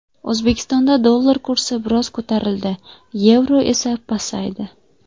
O‘zbekistonda dollar kursi biroz ko‘tarildi, yevro esa pasaydi.